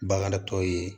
Bagan tɔ ye